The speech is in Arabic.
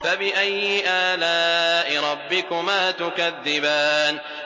فَبِأَيِّ آلَاءِ رَبِّكُمَا تُكَذِّبَانِ